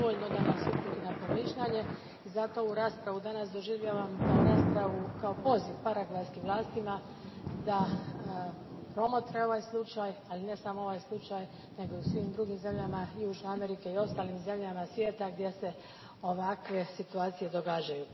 To je dovoljno da nas uputi na promišljanje i zato ovu raspravu danas doživljavam kao poziv paragvajskim vlastima da promotre ovaj slučaj, ali ne samo ovaj slučaj, nego u svim drugim zemljama Južne Amerike i ostalim zemljama svijeta gdje se ovakve situacije događaju.